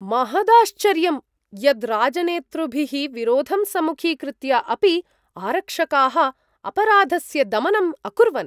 महदाश्चर्यं यत् राजनेतृभिः विरोधं सम्मुखीकृत्य अपि आरक्षकाः अपराधस्य दमनम् अकुर्वन्!